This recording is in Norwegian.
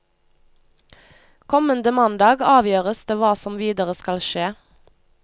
Kommende mandag avgjøres det hva som videre skal skje.